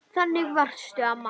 Þannig varstu, amma.